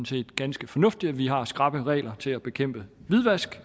set ganske fornuftigt at vi har skrappe regler til at bekæmpe hvidvask